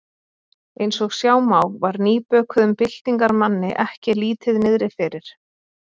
Eins og sjá má var nýbökuðum byltingarmanni ekki lítið niðri fyrir.